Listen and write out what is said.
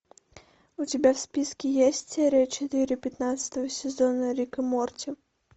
у тебя в списке есть серия четыре пятнадцатого сезона рик и морти